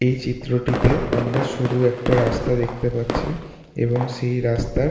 এই চিত্রটিতে আমরা শুরু একটা রাস্তা দেখতে পাচ্ছি এবং সেই রাস্তার।